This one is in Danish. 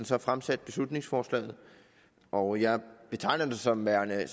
så fremsat beslutningsforslaget og jeg betegner det som værende